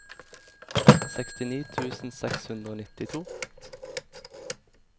sekstini tusen seks hundre og nittito